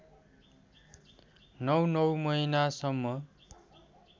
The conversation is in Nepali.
नौ नौ महिनासम्म